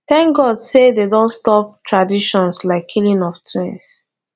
thank god say dey don stop traditions like killing of twins